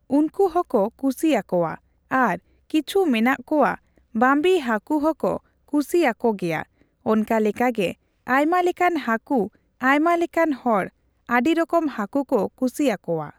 ᱩᱱᱠᱩ ᱦᱚᱸᱠᱚ ᱠᱩᱥᱤᱭᱟᱠᱚᱣᱟ ᱟᱨᱚ ᱠᱤᱪᱷᱩ ᱢᱮᱱᱟᱜ ᱠᱚᱣᱟ ᱵᱟᱺᱵᱤ ᱦᱟᱠᱩ ᱦᱚᱸᱠᱚ ᱠᱩᱥᱤᱭᱟᱠᱚ ᱜᱮᱭᱟ ᱚᱱᱠᱟ ᱞᱮᱠᱟᱜᱮ ᱟᱭᱢᱟ ᱞᱮᱠᱟᱱ ᱦᱟᱹᱠᱩ ᱟᱭᱢᱟ ᱞᱮᱠᱟᱱ ᱦᱚᱲ ᱟᱹᱰᱤ ᱨᱚᱠᱚᱢ ᱦᱟᱹᱠᱩ ᱠᱚ ᱠᱩᱥᱤᱭᱟᱠᱚᱣᱟ ᱾